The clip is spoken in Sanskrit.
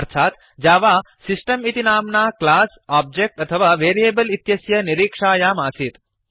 अर्थात् जावा सिस्टम् इति नाम्ना क्लास् आब्जेक्ट् अथवा वेरियेबल् इत्यस्य निरीक्षायामासीत्